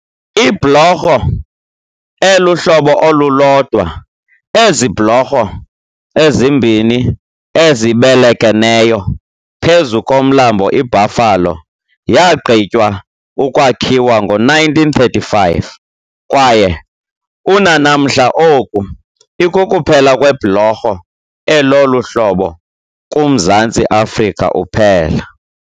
Ibhlorho elihlobo olulodwa ezi bhlorho ezimbini ezibelekeneyo phezu komlambo iBuffalo yaaqgitywa ukwakhiwa ngo-1935 kwaye unanamhla oku, ikukuphela kwebhlorho elolu hlobo kuMzantsi Afrika uphela.